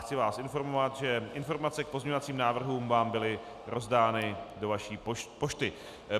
Chci vás informovat, že informace k pozměňovacím návrhům vám byly rozdány do vaší pošty.